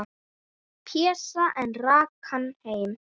Pésa, en rak hann heim.